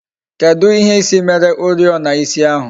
Kedụ ihe ịsị mere oriọna ịsị ahụ?